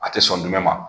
A tɛ sɔn jumɛn ma